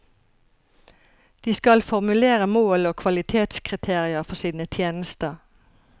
De skal formulere mål og kvalitetskriterier for sine tjenester.